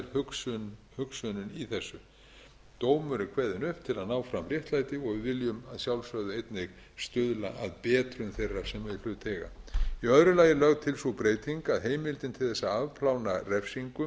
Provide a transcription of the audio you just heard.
er hugsunin í þessu dómur er kveðinn upp til að ná fram réttlæti og við viljum að sjálfsögðu einnig stuðla að betrun þeirra sem í hlut eiga í öðru lagi er lögð til sú breyting að heimildin til að afplána refsingu